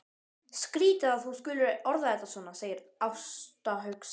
Skrýtið að þú skulir orða þetta svona, segir Ásta hugsi.